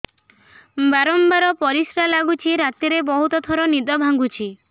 ବାରମ୍ବାର ପରିଶ୍ରା ଲାଗୁଚି ରାତିରେ ବହୁତ ଥର ନିଦ ଭାଙ୍ଗୁଛି